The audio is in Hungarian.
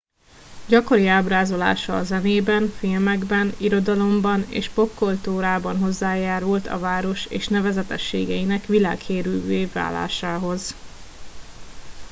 gyakori ábrázolása a zenében filmekben irodalomban és popkultúrában hozzájárult a város és nevezetességeinek világhírűvé válásához